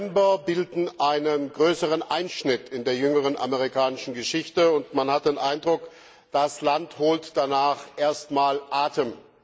2. November bilden einen größeren Einschnitt in der jüngeren amerikanischen Geschichte, und man hat den Eindruck, das Land holt danach erst einmal Atem.